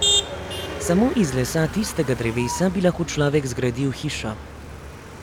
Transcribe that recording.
Samo iz lesa tistega drevesa bi si lahko človek zgradil hišo.